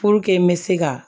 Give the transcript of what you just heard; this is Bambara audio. Puruke n bɛ se ka